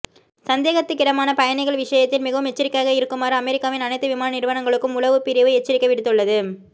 சந்தேகத்துக்கிடமான பயணிகள் விஷயத்தில் மிகவும் எச்சரிக்கையாக இருக்குமாறு அமெரிக்காவின் அனைத்து விமான நிறுவனங்களுக்கும் உளவுப் பிரிவு எச்சரிக்கை விடுத்துள்ளது